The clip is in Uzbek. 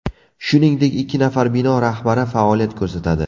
Shuningdek, ikki nafar bino rahbari faoliyat ko‘rsatadi.